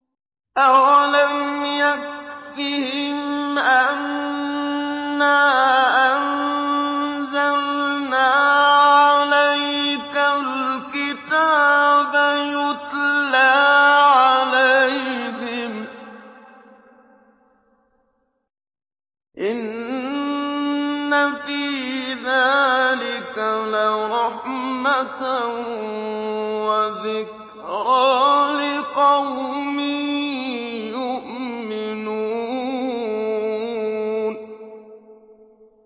أَوَلَمْ يَكْفِهِمْ أَنَّا أَنزَلْنَا عَلَيْكَ الْكِتَابَ يُتْلَىٰ عَلَيْهِمْ ۚ إِنَّ فِي ذَٰلِكَ لَرَحْمَةً وَذِكْرَىٰ لِقَوْمٍ يُؤْمِنُونَ